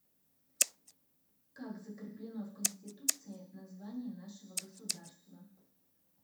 как закреплено в конституции название нашего государства